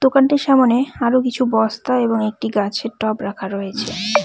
দোকানটির সামোনে আরো কিছু বস্তা এবং একটি গাছের টব রাখা রয়েছে।